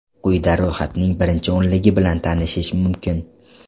Quyida ro‘yxatning birinchi o‘nligi bilan tanishish mumkin.